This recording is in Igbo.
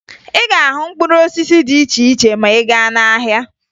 Ị ga-ahụ mkpụrụ osisi dị iche iche ma ị gaa n'ahịa